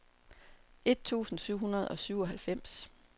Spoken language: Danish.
et tusind syv hundrede og syvoghalvfems